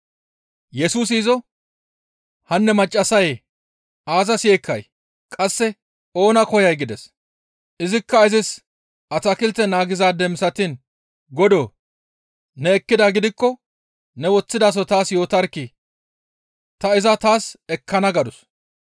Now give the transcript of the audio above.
Yesusi izo, «Hanne maccassayee! Aazas yeekkay? Qasse oona koyay?» gides; izikka izis atakilte naagizaade misatiin, «Godoo! Ne ekkidaa gidikko ne woththidaso taas yootarkkii! Ta iza taas ekkana» gadus.